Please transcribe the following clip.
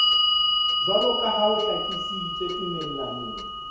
jwaloka ha ho hlakisitswe tumellanong